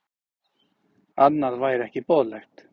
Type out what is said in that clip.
Annað væri ekki boðlegt